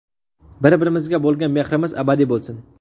Bir-birimizga bo‘lgan mehrimiz abadiy bo‘lsin!